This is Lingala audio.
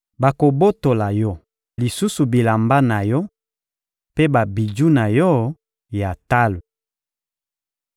Bakobotola yo lisusu bilamba na yo mpe babiju na yo ya talo.